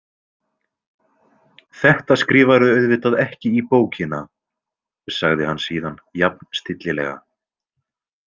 Þetta skrifarðu auðvitað ekki í bókina, sagði hann síðan jafn stillilega.